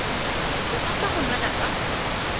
ke rata go nwela ka